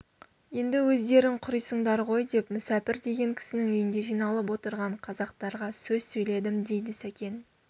енді өздерің құрисыңдар ғой деп мүсәпір деген кісінің үйінде жиналып отырған қазақтарға сөз сөйледім дейді сәкен